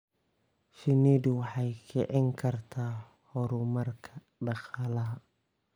Shinnidu waxay kicin kartaa horumarka dhaqaalaha.